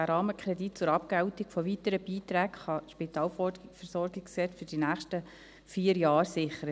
Der Rahmenkredit zur Abgeltung von weiteren Beiträgen kann das SpVG für die nächsten vier Jahre sichern.